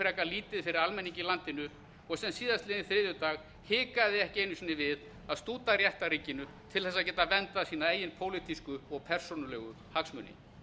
frekar lítið fyrir almenning í landinu og sem á þriðjudaginn var hikaði ekki einu sinni við að stúta réttarríkinu til að geta verndað sína eigin pólitísku og persónulegu hagsmuni